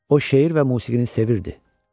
O, şeir və musiqini sevirdi.